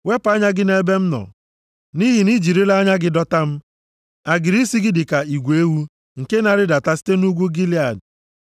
Wepụ anya gị nʼebe m nọ, nʼihi na i jirila anya gị dọta m. Agịrị isi gị dị ka igwe ewu + 6:5 \+xt Abk 4:2\+xt* nke na-arịdata site nʼugwu Gilead.